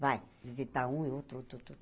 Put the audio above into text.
Vai visitar um e outro outro outro, sabe?